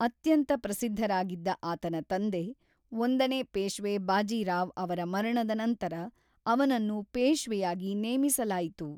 ಅತ್ಯಂತ ಪ್ರಸಿದ್ಧರಾಗಿದ್ದ ಆತನ ತಂದೆ, ಒಂದನೇ ಪೇಶ್ವೆ ಬಾಜಿರಾವ್ ಅವರ ಮರಣದ ನಂತರ ಅವನನ್ನು ಪೇಶ್ವೆಯಾಗಿ ನೇಮಿಸಲಾಯಿತು.